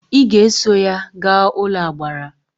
Ị ga eso ya gaa n'ụlọagbara!